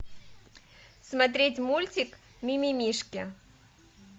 смотреть мультик мимимишки